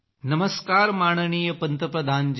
नमस्कार माननीय पंतप्रधान जी